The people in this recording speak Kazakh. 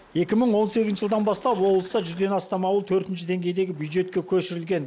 екі мың он сегізінші жылдан бастап облыста жүзден астам ауыл төртінші деңгейдегі бюджетке көшірілген